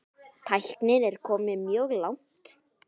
Tæknin er komin mjög langt.